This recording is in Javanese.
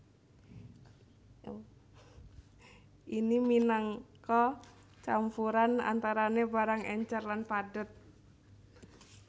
ini minangka campuran antarane barang encer lan padhet